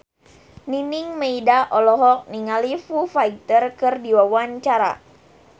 Nining Meida olohok ningali Foo Fighter keur diwawancara